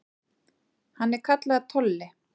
Hann er kallaður Tolli.